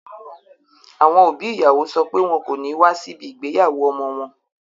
Àwọn òbí ìyàwó sọ pé wọn kò ní wá síbi ìgbéyàwó ọmọ wọn